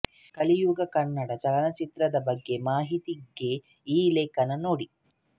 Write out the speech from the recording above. ಕಲಿಯುಗ ಕನ್ನಡ ಚಲನಚಿತ್ರದ ಬಗ್ಗೆ ಮಾಹಿತಿಗೆ ಈ ಲೇಖನ ನೋಡಿ